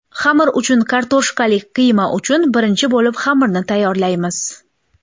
Xamir uchun Kartoshkali qiyma uchun Birinchi bo‘lib xamirni tayyorlaymiz.